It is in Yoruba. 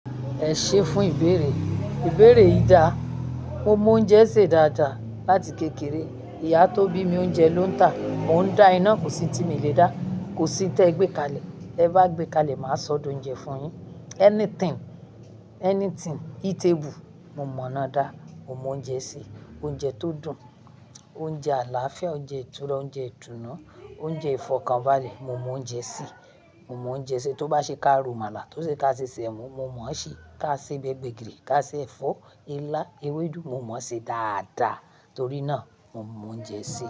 Ẹ ṣé fún ìbéèrè. Ìbéèrè yi dà. Mo mọ oúnjẹ sè dáadáa láti kékeré. Ìyá tó bí mi oúnjẹ ló ń tà. Mò ń dá iná kò sí n tí mi lè dá. Kò sí tẹ gbé kalẹ̀. Te bá gbé kalẹ̀, máa sọ d'oúnjẹ fún yín. Anything, anything eatable mo mọ̀ ina dá. Mo mọ oúnjẹ sè. Oúnjẹ tó dùn, oúnjẹ àlàáfíà, oúnjẹ ìtura, oúnjẹ ìtùnu, oúnjẹ ifọ́kanbále mo mọ oúnjẹ sè. Mo mọ oúnjẹ sè tó bá ṣe ká rò màlà, tó ṣe ká ṣe sèmo, mo mọ̀ ọ́n sè. Ká ṣe bẹ̀ gbẹ̀gírí, ká ṣe ẹ̀fọ́, ilá, ewédú mo mọ̀ ọ́n sè dáadáa. Torí náà mo mọ oúnjẹ sè.